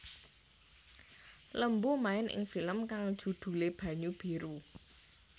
Lembu main ing film kang judhulé Banyu Biru